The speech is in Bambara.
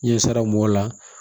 N ɲɛ sera mun b'o la